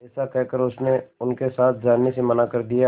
ऐसा कहकर उसने उनके साथ जाने से मना कर दिया